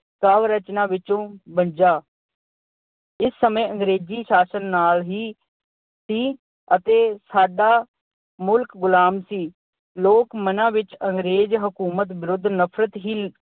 ਕਾਵਿ-ਰਚਨਾ ਵਿੱਚੋਂ ਬੱਝਾ। ਇਸ ਸਮੇਂ ਅੰਗਰੇਜੀ ਸ਼ਾਸਨ ਨਾਲ ਹੀ ਅਹ ਸੀ ਅਤੇ ਸਾਡਾ ਮੁਲਕ ਗੁਲਾਮ ਸੀ। ਲੋਕ ਮਨਾਂ ਵਿੱਚ ਅੰਗਰੇਜ ਹਕੂਮਤ ਵਿਰੁੱਧ ਨਫਰਤ ਹੀ